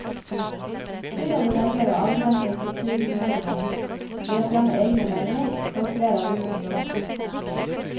Byrådet velger å avgrense kulturmeldingen ved å fremme egne meldinger for flere av disse områdene.